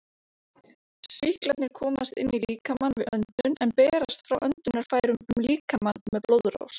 Sýklarnir komast inn í líkamann við öndun en berast frá öndunarfærum um líkamann með blóðrás.